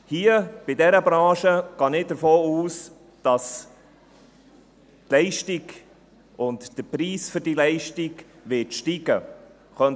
Hier, in dieser Branche, gehe ich davon aus, dass die Leistung und der Preis für die Leistung steigen werden.